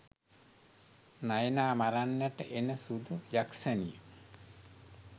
නයනා මරන්නට එන සුදු යක්‍ෂණිය